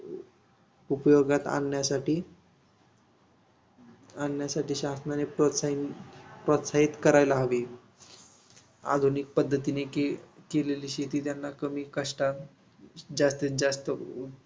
उपयोगात आणण्यासाठी आणण्यासाठी शासनाने प्रोत्साहन प्रोत्साहित करायला हवे. आधुनिक पद्धतीने के केलेली शेती त्यांना कमी कष्टात जास्तीजास्त